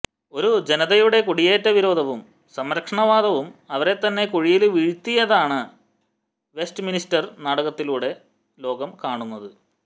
ഒരു ജനതയുടെ കുടിയേറ്റ വിരോധവും സംരക്ഷണവാദവും അവരെത്തന്നെ കുഴിയില് വീഴ്ത്തിയതാണ് വെസ്റ്റ്മിനിസ്റ്റര് നാടകങ്ങളിലൂടെ ലോകം കാണുന്നത്